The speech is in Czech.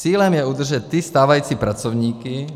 Cílem je udržet ty stávající pracovníky.